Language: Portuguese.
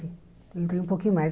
Eu entrei um pouquinho mais.